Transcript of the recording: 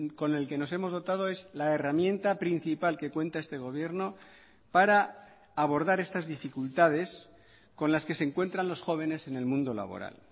con el que nos hemos dotado es la herramienta principal que cuenta este gobierno para abordar estas dificultades con las que se encuentran los jóvenes en el mundo laboral